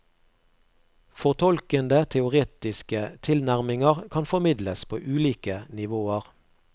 Fortolkende teoretiske tilnærminger kan formidles på ulike nivåer.